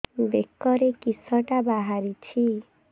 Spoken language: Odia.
ବେକରେ କିଶଟା ବାହାରିଛି